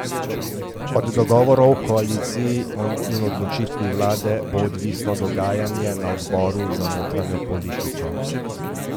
Od dogovorov v koaliciji in odločitve vlade bo odvisno dogajanje na odboru za notranjo politiko.